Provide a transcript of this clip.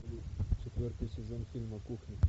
четвертый сезон фильма кухня